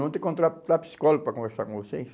Vão ter que contratar psicólogo para conversar com vocês?